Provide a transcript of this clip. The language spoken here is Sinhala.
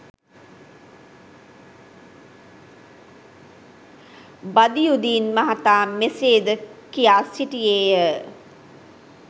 බදියුදීන් මහතා මෙසේද කියා සිටියේය